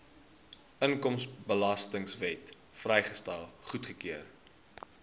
inkomstebelastingwet vrystelling goedgekeur